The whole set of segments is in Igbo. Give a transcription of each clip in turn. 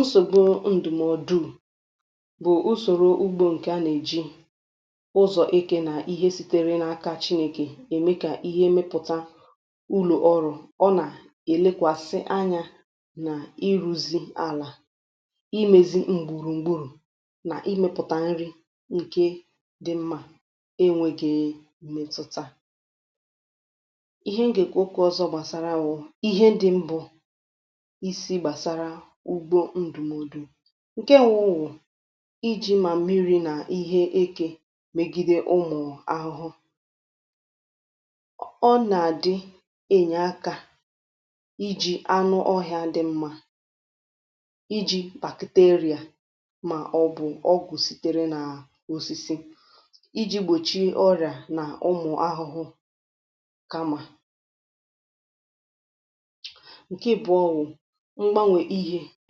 Nsògbu ndùmọdụ bụ̀ usòrò ugbo, ǹkè a nà-èji ụzọ̀ eke nà ihe sitere nà-akȧ Chìnèkè ème, kà ihe emepùta ụlọ̀ ọrụ̇.. Ọ nà-èlekwàsị anyȧ n’iru̇zi̇ àlà, imėzi m̀gbùrùgburù, nà imėpùtà nri ǹke dị mmȧ. E nwėghi̇ èmetuta ihe. M gà-èkwu ọzọ gbàsara wụ̀ ihe ndị mbụ̇ um ǹke wụụ̀ iji̇ mà mmiri̇ nà ihe ekė megide ụmụ̀ ahụhụ. Ọ nà-àdị ènye akȧ iji̇ anụ ọhị̇ȧ dị mmȧ, iji̇ bakteria, mà ọ bụ̀ ọgwụ̀ sìtèrè nà osisi iji̇ gbòchi ọrị̀à nà ụmụ̀ ahụhụ. Um Kama ǹke bụ̇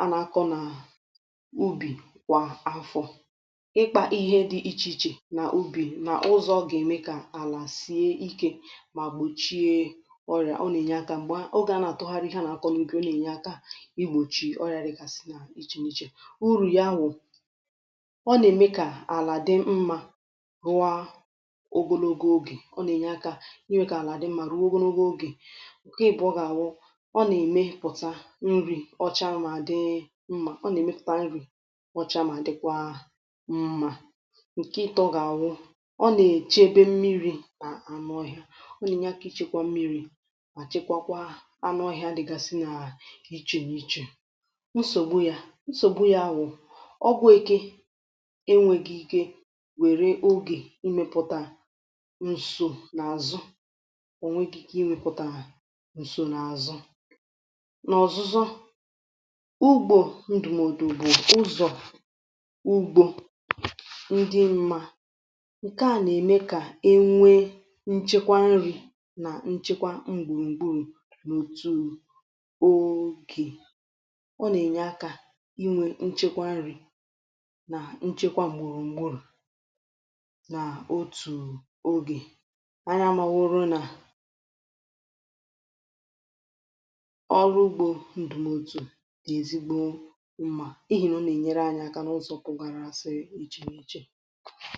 ọwụ̀ ubì, kwà afọ, ịkpȧ ihe dị iche iche nà ubi, nà ụzọ̇ gème kà àlà sie ike mà gbòchie ọrịà. Ọ nà-ènye akȧ m̀gbè a, ogè a nà-àtụgharị ihe a nà-àkọ n’ìgè. Ọ nà-ènye aka igbòchì ọrịà dị kàsị̀ n’ichè n’ichè. Urù ya wụ̀, ọ nà-ème kà àlà dị mmȧ rụa ogologo ogè... Ọ nà-ènye akȧ n’ime kà àlà dị mmȧ rụọ ogologo ogè. Ọ kẹ, ya bụ̀, ọ gà-àwụ bọcha mà dịkwa mmȧ um Ǹkè ịtọ̇ gà-àwụ, ọ nà-èche ebe mmiri̇ nà ànụọhịȧ, ọ nà-enyekwa mmiri̇, mà chekwakwaa anụ ọhịȧ dịgàsị nà ichè n’ichè. Nsògbu yȧ, nsògbu yȧ wụ̀ ọgwụ̀ eke. Enwėghi̇ike nwèrè ogè imėpụ̀tà um nsò n’àzụ; onwegi̇ke iwepụ̀tà nsò n’àzụ ụgbọ̇. Ndụ̀mọdụ̀ bụ̀ ụzọ̀ ugbȯ ndị mmȧ, ǹke à nà-ème kà e nwee nchekwa nri̇ nà nchekwa mgbùrùgburù n’òtù ògè. Ọ nà-ènye akȧ inwė nchekwa nri̇ nà nchekwa m̀mụrụ̀ m̀mụrụ̀, nà otù ogè a nà-amȧwụrụ nà ịhìrì... Ọ nà-ènyere anyị aka n’ụzọ̀ pụ̀gara àsị̀ echi̇ n’iche.